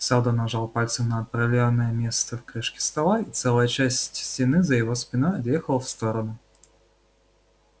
сэлдон нажал пальцем на определённое место в крышке стола и целая часть стены за его спиной отъехала в сторону